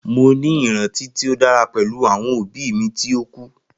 Mo ni iranti ti o dara pẹlu awọn obi mi ti o ku.